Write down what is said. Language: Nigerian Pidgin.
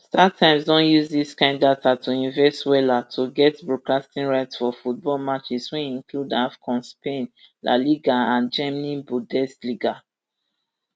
startimes don use dis kain data to invest wella to get broadcasting rights for football matches wey include afcon spain la liga and germany bundesliga